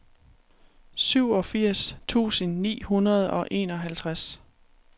syvogfirs tusind ni hundrede og enoghalvtreds